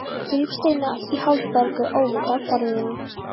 Gríp steininn í hálfgerðu óviti af borðinu.